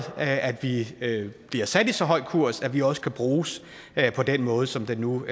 at vi bliver sat i så høj kurs at vi også kan bruges på den måde som det nu